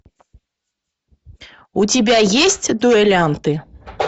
у тебя есть дуэлянты